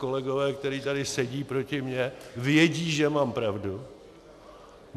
Kolegové, kteří tady sedí proti mně, vědí, že mám pravdu.